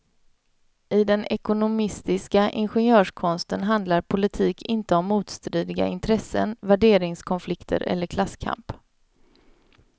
I den ekonomistiska ingenjörskonsten handlar politik inte om motstridiga intressen, värderingskonflikter eller klasskamp.